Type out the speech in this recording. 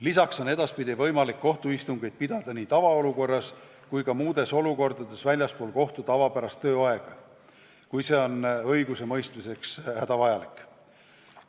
Samuti on edaspidi võimalik kohtuistungeid pidada nii tavaolukorras kui ka muudes olukordades väljaspool kohtu tavapärast tööaega, kui see on õigusemõistmiseks hädavajalik.